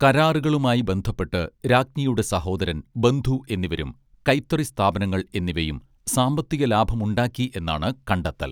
കരാറുകളുമായി ബന്ധപ്പെട്ട് രാജ്ഞിയുടെ സഹോദരൻ ബന്ധു എന്നിവരും കൈത്തറി സ്ഥാപനങ്ങൾ എന്നിവയും സാമ്പത്തിക ലാഭമുണ്ടാക്കി എന്നാണ് കണ്ടെത്തൽ